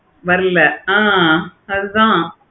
வல்ல. ஆஹ் அதா